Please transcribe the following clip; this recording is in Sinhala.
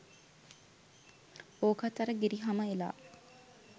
ඕකත් අර ගෙරි හම එලා